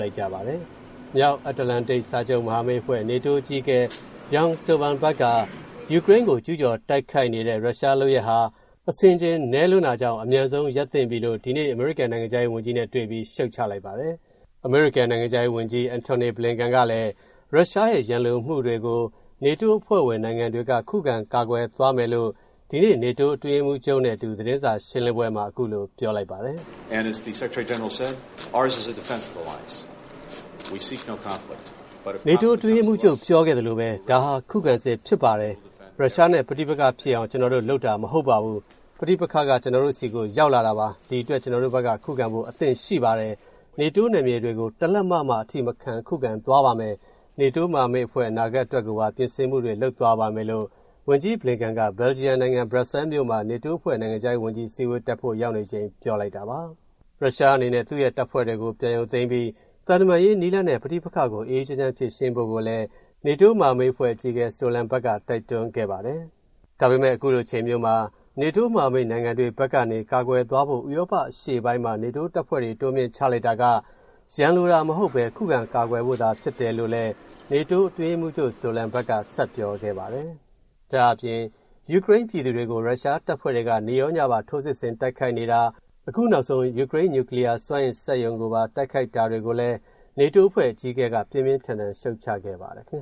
လိုက်ကြပါတယ်။ မြောက်အန္တလန်တိတ်စာချုပ်မဟာမိတ်အဖွဲ့ NATO အကြီးအကဲ Jens Stoltenberg က ယူကရိန်းကို ကျူးကျော်တိုက်ခိုက်နေတဲ့ ရုရှားလုပ်ရပ်ဟာ အဆင်ခြင်မဲ့လွန်းတာကြောင့် အမြန်ဆုံးရပ်သင့်ပြီလို့ ဒီနေ့ အမေရိကန်နိုင်ငံခြားရေးဝန်ကြီးနဲ့တွေ့ပြီး ရှုတ်ချလိုက်ပါတယ်။ အမေရိကန် နိုင်ငံခြားရေးဝန်ကြီး အန်တိုနီ ဘလင်ကန်ကလည်း ရုရှားရဲ့ ရန်လိုမှုတွေကို နေတိုးအဖွဲ့ဝင် နိုင်ငံတွေက ခုခံ ကာကွယ်သွားမယ့်အကြောင်း ဒီနေ့ NATO အတွင်းရေးမှူးချုပ်နဲ့အတူ သတင်းစာရှင်းလင်းပွဲမှာ ပြောလိုက်ပါတယ်။ “နေတိုး အတွင်းရေးမှူးချုပ်ပြောခဲ့သလိုပဲ ဒါဟာ ခုခံစစ်ဖြစ်ပါတယ်။ ရုရှားနဲ့ ပဋိပက္ခဖြစ်အောင် ကျနော်တို့ လုပ်တာမဟုတ်ပါဘူး။ ပဋိပက္ခက ကျနော်တို့ဆီကို ရောက်လာတာပါ။ ဒီအတွက် ကျနော်တို့ဘက်က ခုခံဖို့ အသင့်ရှိပါတယ်။ နေတိုး နယ်မြေတွေကို တလက်မ မှ အထိမခံ ခုခံသွားပါမယ်။ နေတိုးမဟာမိတ်အဖွဲ့ အနာဂတ် အတွက်ကိုပါ ပြင်ဆင်မှုတွေ လုပ်သွားပါမယ်” လို့ ဝန်ကြီး Blinken က ဘယ်လ်ဂျီယံနိုင်ငံ ဘရပ်ဆဲလ်မြို့မှာ နေတိုးအဖွဲ့ နိုင်ငံခြားရေးဝန်ကြီးအစည်းအဝေးတက်ဖို့ ရောက်နေချိန် ပြောလိုက်တာပါ။ ရုရှားအနေနဲ့ သူ့ရဲ့တပ်ဖွဲ့တွေကို ပြန် ရုပ်သိမ်းပြီး သံတမန်ရေးနည်းလမ်းနဲ့ ပဋိပက္ခကို အေးအေးချမ်းချမ်း ဖြေရှင်းဖို့လည်း နေတိုးမဟာမိတ်အဖွဲ့ အကြီးအကဲ Stoltenberg က တိုက်တွန်းခဲ့ပါတယ်။ ဒါပေမယ့် ခုလိုအချိန်မျိုးမှာ နေတိုးမဟာမိတ်နိုင်ငံတွေဘက်ကနေ ကာကွယ်သွားဖို့ ဥရောပအရှေ့ပိုင်းမှာ နေတိုးတပ်ဖွဲ့တွေ တိုးမြှင့်ချလိုက်တာက ရန်လိုတာမဟုတ်ဘဲ ခုခံကာကွယ်ဖို့သာဖြစ်တယ်လို့လည်း နေတိုးအတွင်းရေးမှူးချုပ် Stoltenberg ကဆက်ပြောခဲ့ပါတယ်။ ယူကရိန်း ပြည်သူတွေကို ရုရှားတပ်ဖွဲ့တွေက နေ့ရောညပါ ထိုးစစ်ဆင်တိုက်ခိုက်နေတာ၊ အခုနောက်ဆုံး ယူကရိန်း နျူကလီးယား စွမ်းအင်စက်ရုံကိုပါ တိုက်ခိုက် တာတွေကိုလည်း နေတိုးအဖွဲ့ အကြီးအကဲက ပြင်ပြင်းထန်ထန် ရူတ်ချခဲ့ပါတယ် ခင်